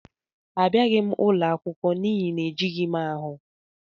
Abịaghị m ụlọ akwụkwọ n'ihi na ejighị m ahụ.